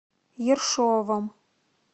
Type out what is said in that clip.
ершовом